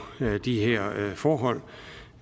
de her forhold